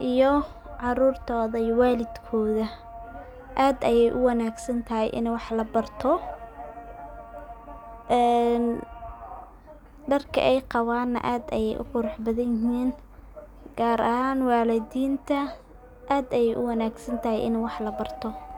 iyo caurtoda iyo walidkodha aad ayey u wangsantahay ini wax labarto .Dharka ay qaban aad ayey u qurux badan yihin ,gaar ahan walidinta aad ayey u wanagsan tahay ini wax labarto.